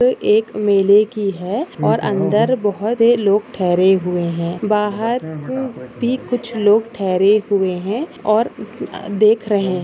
एक मेले की है और अंदर बोहत लोग ठहरे हुए है बाहर भी कुछ लोग ठहरे हुए है और अम्म अ देख रहे है।